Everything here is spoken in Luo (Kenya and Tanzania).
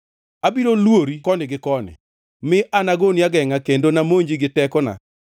Abiro lwori koni gi koni, mi anagoni agengʼa kendo namonji gi tekona.